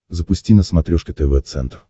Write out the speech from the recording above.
запусти на смотрешке тв центр